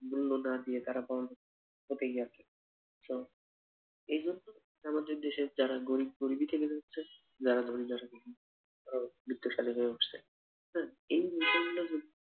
মূল্য না দিয়ে তারা so এই জন্য আমাদের দেশের যারা গরিব গরিবই থেকে যাচ্ছে যারা ধনী তারা বিত্তশালী হয়ে উঠছে আহ এই নতুন